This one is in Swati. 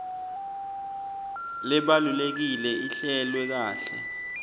lebalulekile ihlelwe kahle